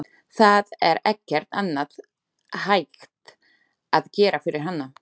Það er ekkert annað hægt að gera fyrir hana.